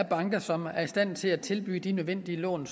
banker som er i stand til at tilbyde de lån